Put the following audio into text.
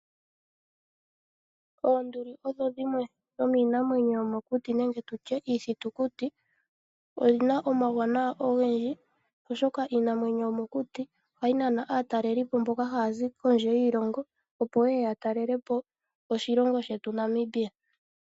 Oonduli odho dhimwe dhominamwenyo yomokuti nenge tutye iithutukuti, odhina omawuwanawa ogendji oshoka Iinamwenyo yomokuti ohayi nana atalelipo mboka hazi kondje yiilongo opo yeye yatalelepo oshilongo shetu Namibia.